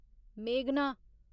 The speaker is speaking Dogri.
मेघना